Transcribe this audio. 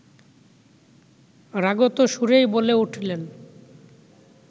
রাগত সুরেই বলে উঠলেন